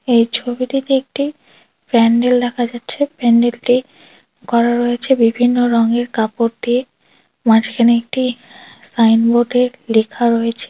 এই ছবিটিতে একটি প্যান্ডেল দেখা যাচ্ছে। প্যান্ডেল টি করা রয়েছে বিভিন্ন রঙের কাপড় দিয়ে। মাঝখানে একটি সাইনবোর্ড -এর লেখা রয়েছে।